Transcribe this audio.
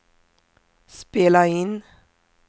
spela in